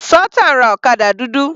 Sultan ra ọ̀kadà dúdú.